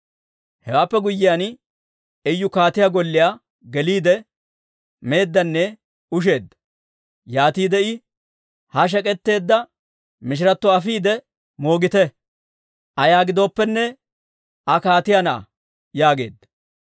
Hewaappe guyyiyaan, Iyu kaatiyaa golliyaa geliide, meeddanne usheeddanne. Yaatiide I, «Ha shek'k'etteedda mishiratto afiide moogite; ayaa giddooppene Aa kaatiyaa na'aa» yaageedda.